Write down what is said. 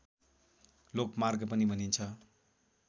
लोकमार्ग पनि भनिन्छ